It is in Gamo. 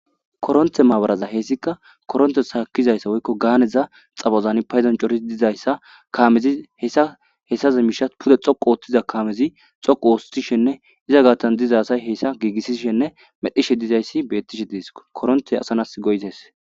koronte maabaraza heessika koronte gaakkizayssa woykko gaaneza xabozani payzancoris dizayssa kaamezi hessa hessaze misha pude xoqu ooththiza kaamezi xoqu oostishenne iza gaattan diza asay hessa giigissishenne medhishe dizayssi beettishe dees koronte asanas goyites